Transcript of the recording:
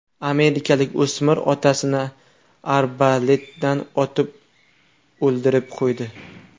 Amerikalik o‘smir otasini arbaletdan otib o‘ldirib qo‘ydi.